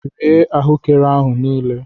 Rie ahuekere ahu niile!